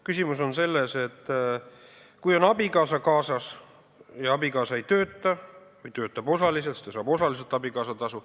Küsimus on selles, et kui on abikaasa kaasas ja abikaasa ei tööta või töötab osaliselt, siis ta saab abikaasatasu.